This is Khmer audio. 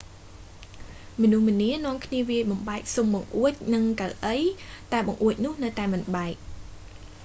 មនុស្សម្នានាំគ្នាវាយបំបែកស៊ុមបង្អួចនឹងកៅអី តែបង្អួចនោះនៅតែមិនបែក